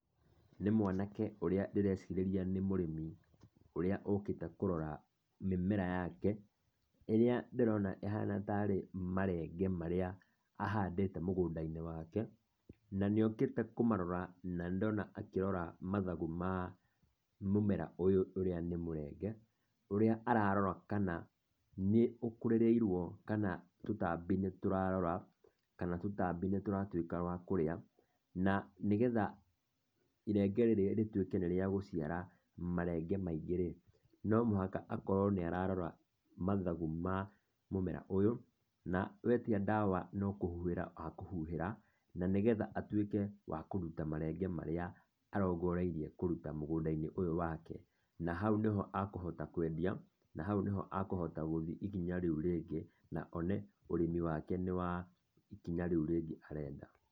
Nĩ mwanake ũrĩa ndĩrecirĩria nĩ mũrĩmi, ũrĩa ũkĩte kũrora mĩmera yake ĩrĩa ndĩrona ĩhana tarĩ marenge marĩa ahandĩte mũgũnda-inĩ wake. Na nĩ okĩte kũmaroraa na nĩndona akĩrora mathangũ ma mũmera ũyũ ũrĩa nĩ mũrenge, ũrĩa ararora kana nĩ ũkũrĩrĩirwo kana tũtambi nĩ tũrarora, kana tũtambi nĩ tũratuĩka twa kũrĩa na nĩgetha irenge rĩrĩ rĩtuĩke nĩ rĩa gũciara marenge maingĩ rĩ, no mũhaka akorwo nĩ ararora mathagũ ma mũmera ũyũ na wetia ndawa no kũhuhĩra akahũhuhĩra nĩgetha atuĩke wa kũruta marenge marĩa arongoreirie kũruta mũgũnda-inĩ ũyũ wake. Na hau nĩho akohota kwendia, na hau nĩho akohota gũthiĩ ikinya rĩu rĩngĩ, na one ũrĩmi wake nĩ wa kinya ikinya rĩu rĩngĩ arenda.